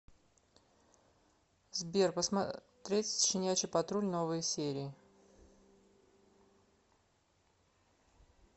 сбер посмотреть щенячий патруль новые серии